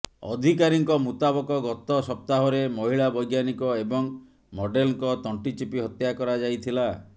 ଅଧିକାରୀଙ୍କ ମୁତାବକ ଗତ ସପ୍ତାହରେ ମହିଳା ବୈଜ୍ଞାନିକ ଏବଂ ମଡେଲଙ୍କ ତଣ୍ଟି ଚିପି ହତ୍ୟା କରାଯାଇଥିଲା